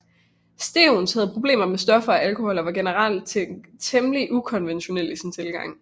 Stevens havde problemer med stoffer og alkohol og var generelt temmelig ukonventionel i sin tilgang